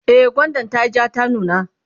e gwandan tayi jaa ta nuna